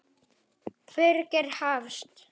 Birgir Hafst.